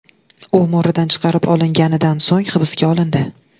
U mo‘ridan chiqarib olinganidan so‘ng hibsga olindi.